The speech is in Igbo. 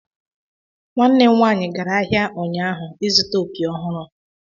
nwannem nwanyi gara ahia ụnyaahụ izuta opi ọhụrụ